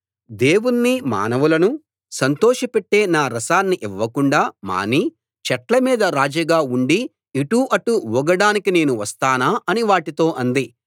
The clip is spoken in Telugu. దేవుణ్ణీ మానవులనూ సంతోషపెట్టే నా రసాన్ని ఇవ్వకుండా మాని చెట్ల మీద రాజుగా ఉండి ఇటు అటు ఊగడానికి నేను వస్తానా అని వాటితో అంది